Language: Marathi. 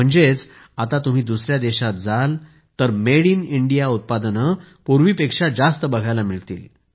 म्हणजे आता तुम्ही दुसऱ्या देशांत जाल तर मेड इन इंडिया उत्पादने पूर्वीपेक्षा जास्त बघायला मिळतील